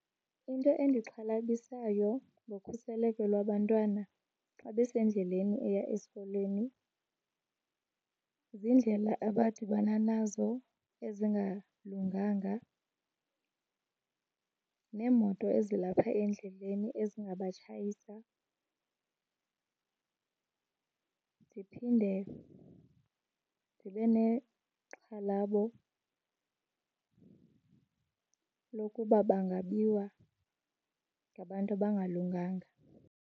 Into endixhalabisayo ngokhuseleko lwabantwana xa besendleleni eya esikolweni ziindlela abadibana nazo ezingalunganga neemoto ezilapha endleleni ezingabatshayisa. Ndiphinde ndibe nexhalabo lokuba bangabiwa ngabantu abangalunganga.